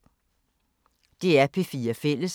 DR P4 Fælles